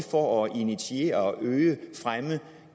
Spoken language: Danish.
for at initiere øge og fremme